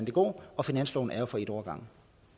at gå og finansloven er jo for en år